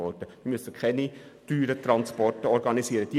Es müssen keine teuren Transporte organisiert werden.